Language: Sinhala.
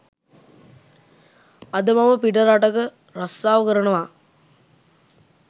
අද මම පිට රටක රස්සාව කරනවා